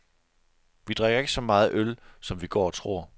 Vi drikker ikke så meget øl, som vi går og tror.